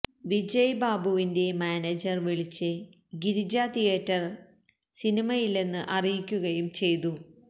വിജയ് ബാബുവിന്റെ മാനേജര് വിളിച്ച് ഗിരിജ തിയേറ്ററില് സിനിമയില്ലെന്ന് അറിയിക്കുകയും ചെയ്തു